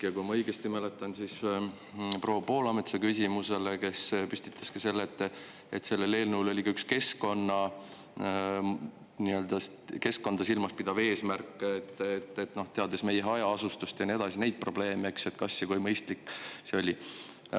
Ja kui ma õigesti mäletan, siis proua Poolamets püstitas küsimuse, et selles eelnõus oli ka keskkonda silmas pidav eesmärk, aga teades meie hajaasustust ja nii edasi, neid probleeme, siis kui mõistlik see on.